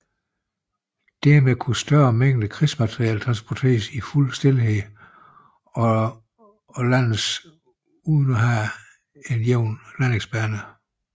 Dermed kunne større mængder krigsmateriel transporteres i fuld stilhed og landes uden at have en jævn landingsbane